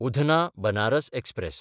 Udhna Banaras express